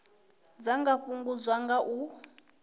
dza nga fhungudzwa nga u